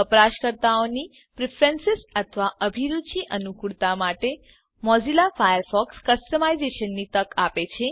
વપરાશકર્તાની પ્રીફ્રેન્સીઝ અથવા અભિરુચિ અનુકૂળતા માટે મોઝીલા ફાયરફોક્સ કસ્ટમાઇઝેશનની તક આપે છે